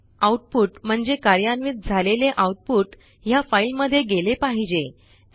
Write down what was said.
o output म्हणजे कार्यान्वित झालेले आऊटपुट ह्या फाईलमध्ये गेले पाहिजे